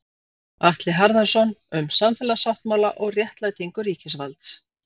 Atli Harðarson, Um samfélagssáttmála og réttlætingu ríkisvalds.